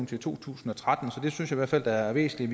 til to tusind og tretten så det synes i hvert fald er væsentligt